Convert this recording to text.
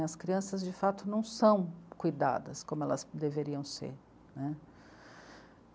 As crianças, de fato, não são cuidadas como elas deveriam ser né.